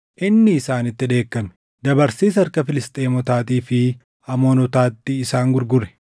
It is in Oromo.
inni isaanitti dheekkame. Dabarsees harka Filisxeemotaatii fi Amoonotaatti isaan gurgure;